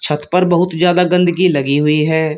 छत पर बहुत ज्यादा गंदगी लगी हुई है।